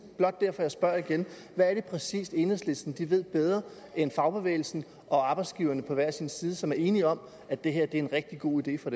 blot derfor jeg spørger igen hvad er det præcis enhedslisten ved bedre end fagbevægelsen og arbejdsgiverne på hver sin side som er enige om at det her er en rigtig god idé for